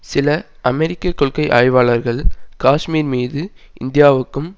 சில அமெரிக்க கொள்கை ஆய்வாளர்கள் காஷ்மீர் மீது இந்தியாவுக்கும்